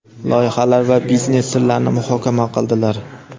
loyihalar va biznes sirlarini muhokama qildilar.